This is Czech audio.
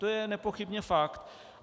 To je nepochybně fakt.